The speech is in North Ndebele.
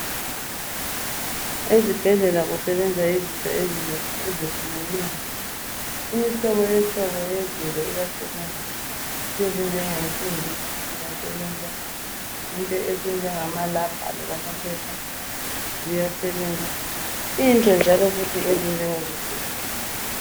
Ezibhedlela kusebenza izinto ezinengi ezehlukeneyo. Imihlobo hlobo yezinto iyasebenza ezinjengensimbi ziyasebenza ezinjengamarabha loba amaphepha ziyasebenza into njalo futhi ezinjengezigubhu.